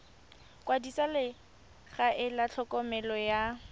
kwadisa legae la tlhokomelo ya